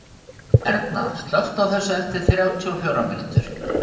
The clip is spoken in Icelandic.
Erna, slökktu á þessu eftir þrjátíu og fjórar mínútur.